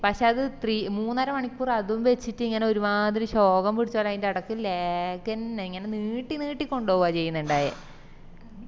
പക്ഷെ അത് ത്രീ മൂന്നര മണിക്കൂർ അതുംവെച്ചിറ്റ് ഇങ്ങനെ ശോകം പിടിച്ചപോലെ അതിന്റേടക്ക് lag എന്നെ ഇങ്ങനെ നീട്ടി നീട്ടി കൊണ്ടോവാ ചെയ്‌ന്നിണ്ടായെ